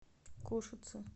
кошице